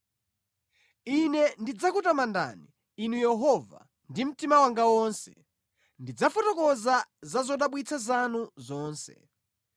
Ine ndidzakutamandani, Inu Yehova, ndi mtima wanga wonse; ndidzafotokoza za zodabwitsa zanu zonse.